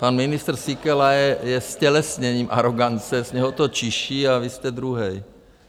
Pan ministr Síkela je ztělesněním arogance, z něho to čiší, a vy jste druhej.